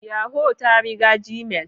Yahoo ta riga gmail.